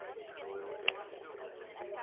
royal air force